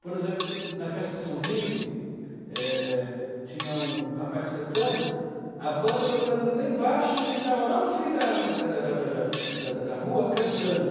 Por exemplo, na festa de São Vito, eh, tinha um rapaz cantando, a banda tocando lá embaixo, e ele estava lá no fim da da da da da da da da da rua cantando.